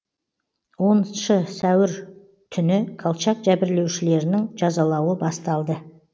оныншы сәуір түні колчак жәбірлеушілерінің жазалауы басталды